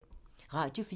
Radio 4